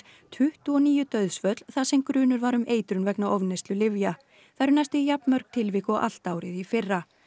tuttugu og níu dauðsföll þar sem grunur var um eitrun vegna ofneyslu lyfja það eru næstum jafn mörg tilvik og allt árið í fyrra